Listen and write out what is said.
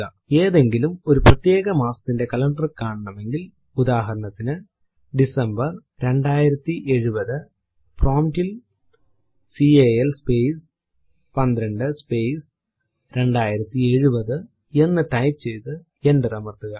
ഏതെങ്കിലും ഒരു പ്രത്യേക മാസത്തിന്റെ കലണ്ടർ കാണണമെങ്കിൽ ഉദാഹരണത്തിനു ഡിസംബർ 2070 പ്രോമ്പ് ൽ കാൽ സ്പേസ് 12 സ്പേസ് 2070 എന്ന് ടൈപ്പ് ചെയ്തു എന്റർ അമർത്തുക